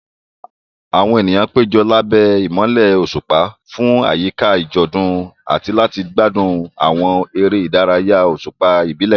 Àwọn ènìyàn péjọ lábẹ́ ìmọ́lẹ̀ òṣùpá fún àyíká àjọ̀dún àti láti gbádùn àwọn eré ìdárayá òṣùpá ìbílẹ̀.